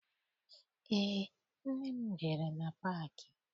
Eé, nne m jere na paakị.